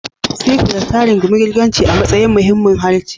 Cyprus, ta rungumi Girkanci a matsayin muhimmin harshe.